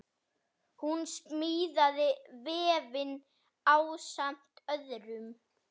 Hún smíðaði vefinn ásamt öðrum.